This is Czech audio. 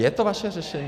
Je to vaše řešení?